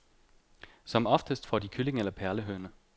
Som oftest får de kylling eller perlehøne.